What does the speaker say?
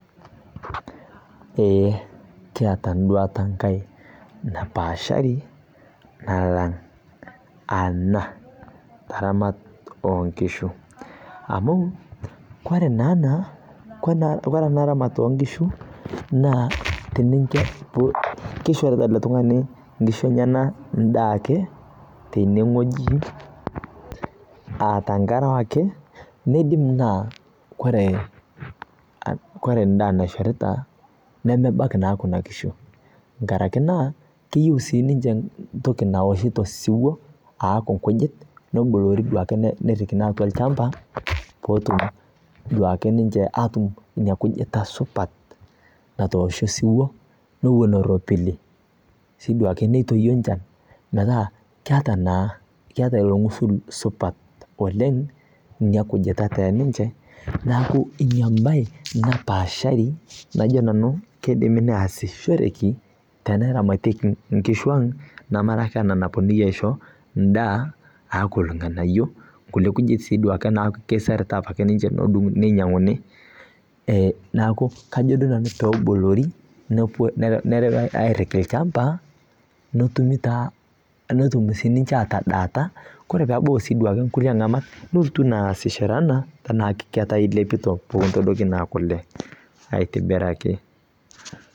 Ee kiatu enduata enkae napaashari nalang' ana taramat oo nkishu amu kore naa ena, kore ena ramat oo nkishu naa tenincho, kishorita ele tung'ani nkishu enyenak endaa ake tenewueji aa tenkaraki neidim naa kore endaa naishorita nemebak naa kuna kishu nkaraki naa keyiu siininche ntoki naoshito siwuo aaku nkujit, neboloori duake nepik atwa olchamba peetum duake ninche ina kujita supat natoosho osiwuo nerropil duake neitoki enchan metaa keeta naa, keeta ilo ng'usil supat oleng ilo kujita ninche neeku ina bae napaashari najo naa keidimi neasishore teneramatieki nkishu ang' nemara ake ena napwonunui aisho endaa aaku ilng'anayiok, nkulie kujit duake naa keiserita ake ninche ninyang'uni. Neeku kajo duo nanu peeboloori nerewi airriki olchamba netumi taa, netum siininche aatadaata kore peebau siidwo nkulie ang'amak nilotu naa aasishore enaa ilepito peekintabaiki naa kule aitibiraki